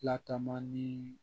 Lataama ni